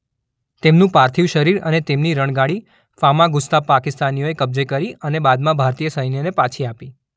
તેમનું પાર્થિવ શરીર અને તેમની રણગાડી ફામાગુસ્તા પાકિસ્તાનીઓએ કબ્જે કરી અને બાદમાં ભારતીય સૈન્યને પાછી આપી.